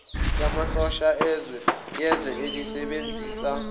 yamasosha yezwe elisebenzisa